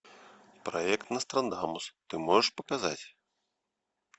проект нострадамус ты можешь показать